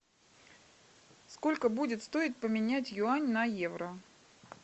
сколько будет стоить поменять юань на евро